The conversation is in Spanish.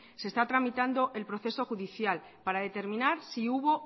se está tramitando el proceso judicial para determinar si hubo